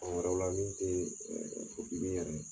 Mɔgɔ wɛrɛw la min te ɛɛ yɛrɛ ye .